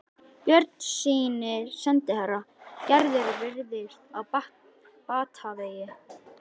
Björnssyni sendiherra: Gerður virðist á batavegi.